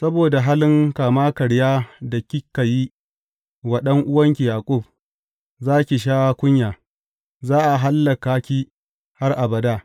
Saboda halin kama karyar da kika yi wa ɗan’uwanka Yaƙub, za ki sha kunya; za a hallaka ki har abada.